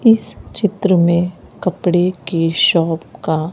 इस चित्र में कपड़े के शॉप का--